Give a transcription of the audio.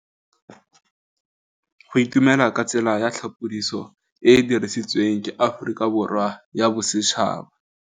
Go itumela ke tsela ya tlhapolisô e e dirisitsweng ke Aforika Borwa ya Bosetšhaba.